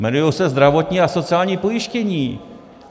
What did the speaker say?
Jmenují se zdravotní a sociální pojištění.